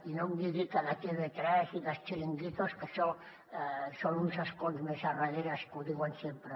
i no em digui que de tv3 i dels xiringuitos que això és en uns escons més endarrere que ho diuen sempre